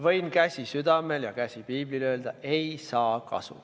Võin käsi südamel ja käsi piiblil öelda, et ei saa kasu.